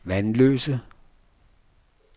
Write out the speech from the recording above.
Vanløse